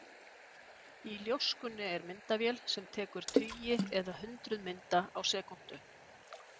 Í ljóskunni er myndavél sem tekur tugi eða hundruð mynda á sekúndu.